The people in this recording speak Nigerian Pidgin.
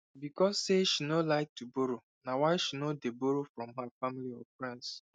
because say she no like to borrow na why she no dey borroe from her family or friends